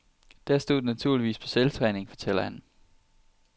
Der stod den naturligvis på selvtræning, fortæller han.